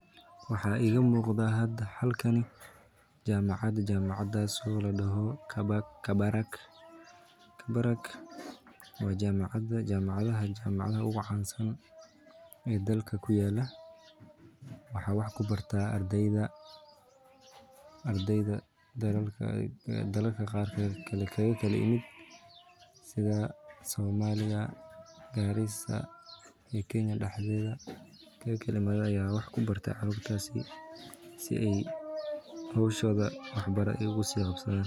Waxaa iiga muuqda meeshan jamacad ladoho kabarak waa kuwa oogu cansan waxa wax ku bartaa ardeyda daalalka qaar ka kala imaade si aay howshoda ugu sii qabsadaan.